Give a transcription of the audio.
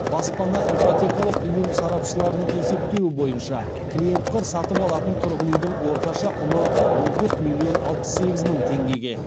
баспана ипотекалық ұйым сарапшыларының есептеуі бойынша клиенттер сатып алатын тұрғын үйдің орташа құны он төрт миллион алпыс сегіз мың теңгеге